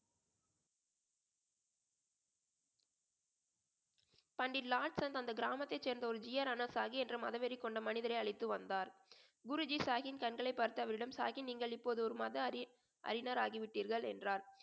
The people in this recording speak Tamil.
பண்டிட் லார்ட் ஸன் அந்த கிராமத்தை சேர்ந்த ஒரு என்ற மதவெறி கொண்ட மனிதரை அழைத்து வந்தார் குருஜி சாஹின் கண்களை பார்த்து அவரிடம் சாஹின் நீங்கள் இப்போது ஒரு மத அறி~ அறிஞர் ஆகிவிட்டீர்கள் என்றார்